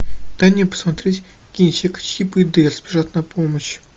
дай мне посмотреть кинчик чип и дейл спешат на помощь